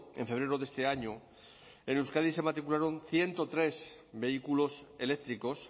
en febrero de este año en euskadi se matricularon ciento tres vehículos eléctricos